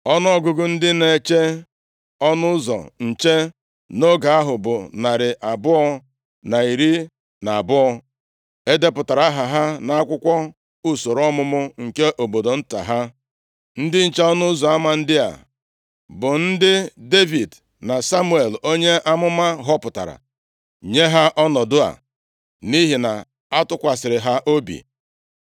Ọnụọgụgụ ndị na-eche ọnụ ụzọ nche nʼoge ahụ bụ narị abụọ na iri na abụọ (212). E depụtara aha ha nʼakwụkwọ usoro ọmụmụ nke obodo nta ha. Ndị nche ọnụ ụzọ ama ndị a bụ ndị Devid na Samuel onye amụma họpụtara nye ha ọnọdụ a nʼihi na-atụkwasịrị ha obi.